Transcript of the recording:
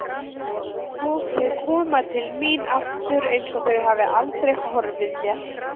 Og þau koma til mín aftur einsog þau hafi aldrei horfið mér.